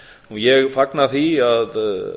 ég fagna því að